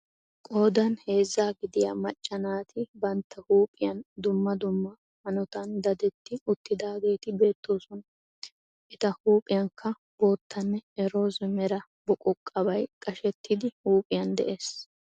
Qoodan heezzaa gidiya macca naati bantta huuphphiya dumma dumma hanotan dadetti uttidaageetti beettosona. Eta huuphphiyankka boottanne roozze mera buqquqa bay qashshetidi huuphphiyan de'ees.